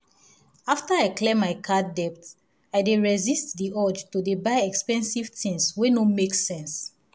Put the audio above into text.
after i clear my card debt i dey resist the urge to dey buy expensive tins wey no make sense.